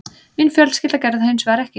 Mín fjölskylda gerði það hins vegar ekki